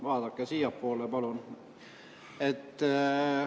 Vaadake siiapoole, palun!